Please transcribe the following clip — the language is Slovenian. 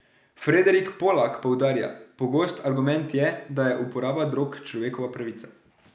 Frederik Polak poudarja: 'Pogost argument je, da je uporaba drog človekova pravica.